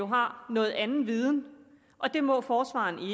har noget andet viden og det må forsvareren